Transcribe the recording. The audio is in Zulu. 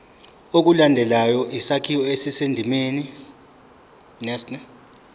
ilandele isakhiwo esisendimeni